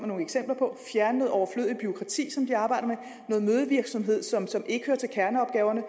nogle eksempler på fjerne noget overflødigt bureaukrati som de arbejder med noget mødevirksomhed som som ikke hører til kerneopgaverne